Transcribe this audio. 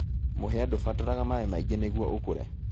Mũhĩa ndubataraga maĩ maingĩ nĩguo ũkure.